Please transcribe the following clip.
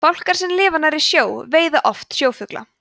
fálkar sem lifa nærri sjó veiða oft sjófugla